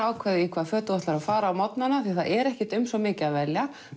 ákveða í hvaða föt þú ætlar að fara því það er ekkert um svo mikið að velja